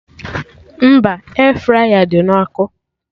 Mba, Air fraya dị na ọkụ